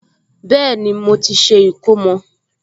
Bẹ́ẹ̀ni, mo ti ṣe ìkómọ